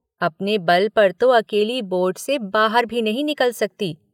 आपने बल पर तो अकेली बोर्ड से बाहर भी नहीं निकल सकती।